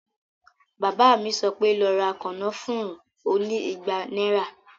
Bàbá mi sọ pé, "lọ ra kànáfùrú oní ìgbà náíra